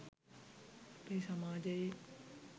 අපේ සමාජයේ